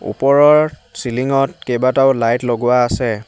ওপৰৰ চিলিং ত কেইবাটাও লাইট লগোৱা আছে।